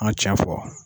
An tiɲɛ fɔ